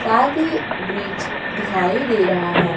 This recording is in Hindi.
साथ ही ब्रिज दिखाई दे रहा है।